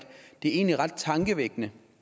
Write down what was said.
det egentlig er ret tankevækkende